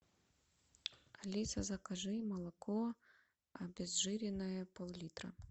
алиса закажи молоко обезжиренное поллитра